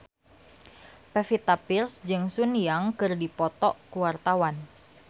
Pevita Pearce jeung Sun Yang keur dipoto ku wartawan